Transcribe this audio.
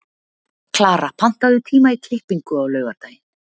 Klara, pantaðu tíma í klippingu á laugardaginn.